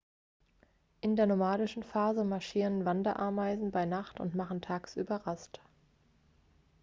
in der nomadischen phase marschieren wanderameisen bei nacht und machen tagsüber rast